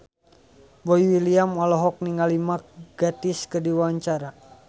Boy William olohok ningali Mark Gatiss keur diwawancara